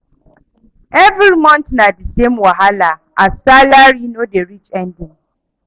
Every month na the same wahala as salary no dey reach ending.